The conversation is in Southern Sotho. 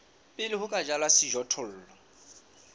pele ho ka jalwa sejothollo